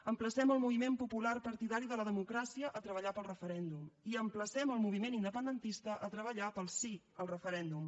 emplacem el moviment popular partidari de la democràcia a treballar pel referèndum i emplacem el moviment independentista a treballar pel sí al referèndum